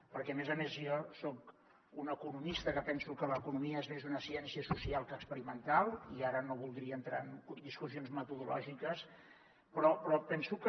perquè a més a més jo soc un economista que penso que l’economia és més una ciència social que experimental i ara no voldria entrar en discussions metodològiques però penso que